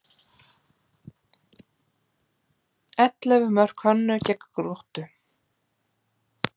Ellefu mörk Hönnu gegn Gróttu